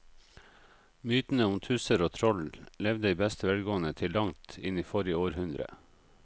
Mytene om tusser og troll levde i beste velgående til langt inn i forrige århundre.